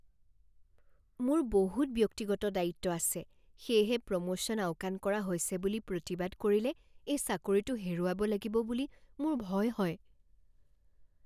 মোৰ বহুত ব্যক্তিগত দায়িত্ব আছে সেয়েহে প্ৰমোশ্যন আওকাণ কৰা হৈছে বুলি প্ৰতিবাদ কৰিলে এই চাকৰিটো হেৰুৱাব লাগিব বুলি মোৰ ভয় হয়।